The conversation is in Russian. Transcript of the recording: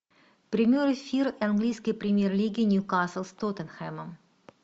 прямой эфир английской премьер лиги ньюкасл с тоттенхэмом